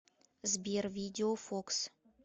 сбер видео фокс